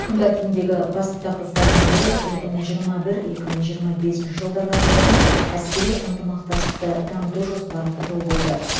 күн тәртібіндегі басты тақырыптардың бірі екі мың жиырма бір екі мың жиырма бесінші жылдарға арналған әскери ынтымақтастықты дамыту жоспарын құру болды